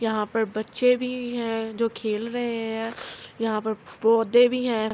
یہاں پر بچھے بھی ہے جو کھل رہے ہے۔ یہاں پر پڑھے بھی ہے۔